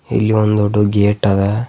ಇಲ್ಲಿ ಒಂದು ಡೊಡುದ್ ಗೇಟ್ ಅದ.